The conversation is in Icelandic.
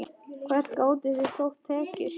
Hvert gátuð þið sótt tekjur?